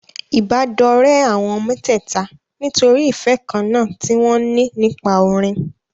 Ìbádọ́rẹ̀ẹ́ àwọn mẹ́tẹ̀ẹ̀ta nítorí ìfẹ́ kan náà tí wọn ní nípa orin.